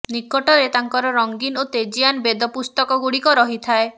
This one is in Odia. ନିକଟରେ ତାଙ୍କର ରଙ୍ଗୀନ ଓ ତେଜୀୟାନ ବେଦ ପୁସ୍ତକଗୁଡ଼ିକ ରହିଥାଏ